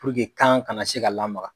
kan kana se ka lamaga